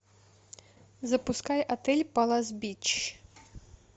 запускай отель палас бич